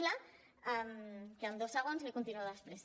em queden dos segons li ho continuo després